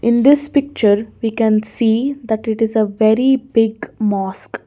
In this picture we can see that it is a very big mosque.